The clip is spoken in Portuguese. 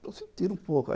Então se tira um pouco.